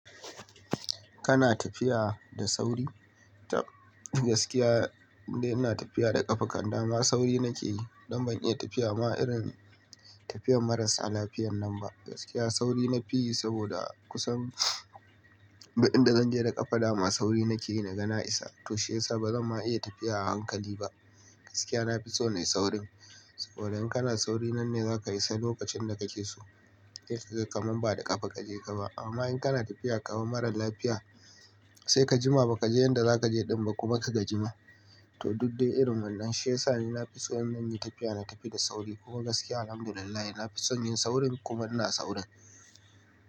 Kana tafiya da sauri? Tab gaskiya, in dai ina tafiya da ƙafa kanda ma sauri nake yi don ban iya tafiya ma irin tafiyar marasa lafiyar nan ba. Gaskiya sauri nafi yi saboda kusan duk inda zanje da ƙafa dama sauri nake yi na ga na isa. To shiyasa bazan ma iya tafiya a hankali ba. Gaskiya nafi so nayi saurin saboda in kana sauri nan ne zaka isa lokacin da kake so. Sai kaga kamar ba da ƙafa kaje ka ba. Amma in kana tafiya kamar mara lafiya, sai ka jima bakaje inda za kaje din ba kuma kaga jima. To duk dai irin wannan. Shiyasa ni nafi so in zanyi tafiya, na tafi da sauri. Kuka gaskiya Alhamdulillah nafi son yin saurin kuma ina saurin.